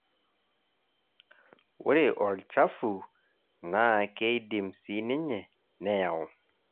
ore olnchafu naa keidim sii ninye neyau.